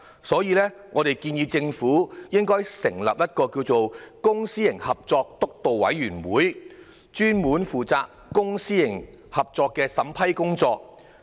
所以，我們建議政府成立一個"公私營合作督導委員會"，專門負責公私營合作的審批工作。